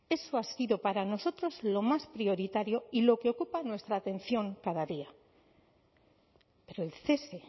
esi ha sido para nosotros lo más prioritario y lo que ocupa nuestra atención cada día pero el cese